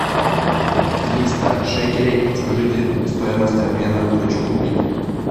триста шекелей подскажите стоимость обмена хочу купить